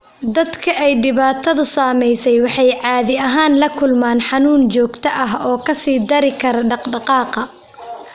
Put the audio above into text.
Dadka ay dhibaatadu saameysey waxay caadi ahaan la kulmaan xanuun joogto ah oo ka sii dari kara dhaqdhaqaaqa.